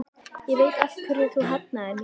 Ég veit af hverju þú hafnaðir mér.